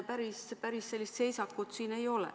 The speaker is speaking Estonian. Päris sellist seisakut ei ole.